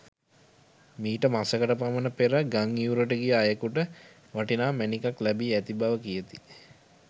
මීට මසකට පමණ පෙර ගංඉවුරට ගිය අයෙකුට වටිනා මැණිකක් ලැබී ඇති බව කියති.